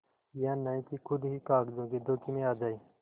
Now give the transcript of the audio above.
यह नहीं कि खुद ही कागजों के धोखे में आ जाए